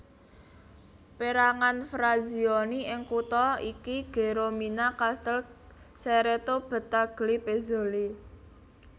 Pérangan frazioni ing kutha iki Geromina Castel Cerreto Battaglie Pezzoli